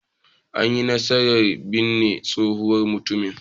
An yi nasarar binne tsohon mutumin.